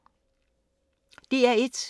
DR1